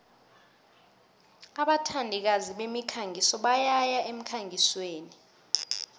abathandikazi bemikhangiso bayaya emkhangisweni